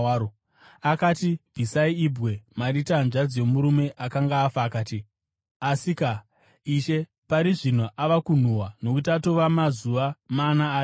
Akati, “Bvisai ibwe.” Marita, hanzvadzi yomurume akanga afa akati, “Asika, Ishe, pari zvino ava kunhuhwa, nokuti atova mazuva mana arimo.”